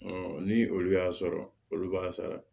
ni olu y'a sɔrɔ olu b'a sara